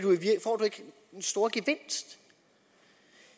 den store gevinst